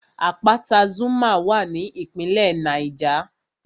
Àpáta Zuma wà ní ìpínlẹ̀ Niger